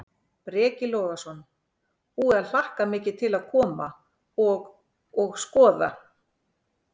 Breki Logason: Búið að hlakka mikið til að koma og, og skoða?